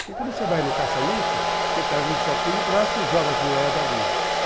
Porque quando você vai no caça-níquel, você pega um copinho de plástico e joga as moedas ali.